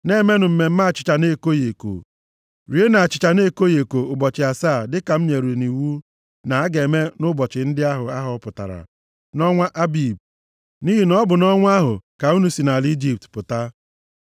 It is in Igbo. “Na-emenụ mmemme achịcha na-ekoghị eko. Rienụ achịcha na-ekoghị eko ụbọchị asaa, dịka m nyere nʼiwu na a ga-eme nʼụbọchị ndị ahụ a họpụtara, nʼọnwa Abib, nʼihi na ọ bụ nʼọnwa ahụ ka unu si nʼala Ijipt pụta.